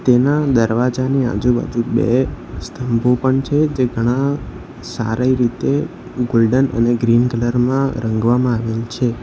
એના દરવાજાની આજુબાજુ બે સ્થંભો પણ છે જે ઘણા સારી રીતે ગોલ્ડન અને ગ્રીન કલર માં રંગવામાં આવેલ છે.